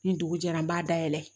Ni dugu jɛra n b'a dayɛlɛ